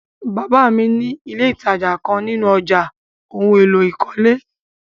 Baba mi ni ìlé́ ìtajà kan nínú ọ̀já ohun èlò ìkọ́lé.